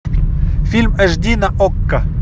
фильм аш ди на окко